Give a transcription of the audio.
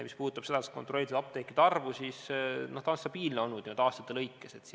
Mis puudutab seda kontrollitud apteekide arvu, siis see on nüüd aastate jooksul olnud stabiilne.